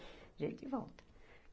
A gente volta.